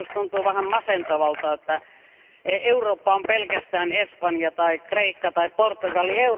Joskus tuntuu vähän masentavalta, että Eurooppa on pelkästään Espanja tai Kreikka tai Portugali.